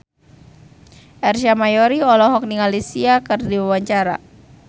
Ersa Mayori olohok ningali Sia keur diwawancara